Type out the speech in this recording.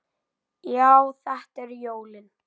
Já, þetta eru jólin!